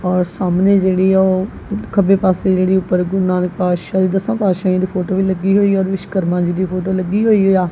ਔਰ ਸਾਹਮਣੇ ਜਿਹੜੀ ਆ ਓਹ ਖੱਬੇ ਪਾੱਸੇ ਜਿਹੜੀ ਊਪਰ ਨਾਨਕ ਪਾਤਸ਼ਾਹੀ ਦੱਸਾਂ ਪਾਤਸ਼ਾਹੀਆਂ ਦੀ ਫੋਟੋ ਵੀ ਲੱਗੀ ਹੋਈਆ ਔਰ ਵਿਸ਼ਵਕਰਮਾਂ ਜੀ ਦੀ ਫੋਟੋ ਲੱਗੀ ਹੋਈਆ।